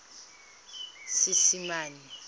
seesimane